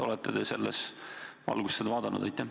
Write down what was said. Olete selles valguses seda vaadanud?